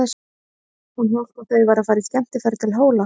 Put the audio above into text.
Hún hélt að þau væru að fara í skemmtiferð til Hóla.